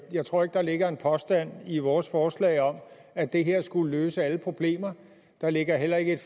jeg tror ikke der ligger en påstand i vores forslag om at det her skulle løse alle problemer der ligger heller ikke et